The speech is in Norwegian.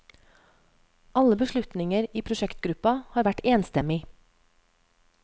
Alle beslutninger i prosjektgruppa har vært enstemmig.